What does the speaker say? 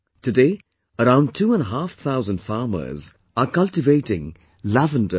Today, around two and a half thousand farmers are cultivating lavender here